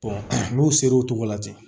n'u sera o cogo la ten